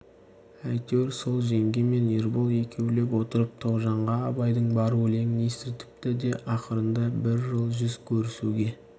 әйтеуір сол жеңге мен ербол екеулеп отырып тоғжанға абайдың бар өлеңін естіртіпті де ақырында бір жол жүз көрісуге